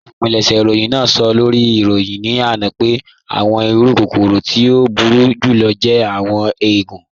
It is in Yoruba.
Olúpìlẹ̀ṣẹ̀ ìròyìn náà sọ̀ lórí ìròyìn ní ana pẹ̀ àwọn ìrù kòkòrò tí o búru jùlọ̀ jẹ̀ àwọn èègùn.